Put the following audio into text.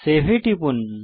save এ টিপুন